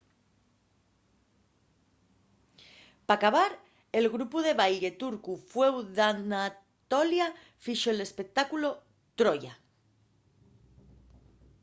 p’acabar el grupu de baille turcu fueu d’anatolia fixo l’espectáculu troya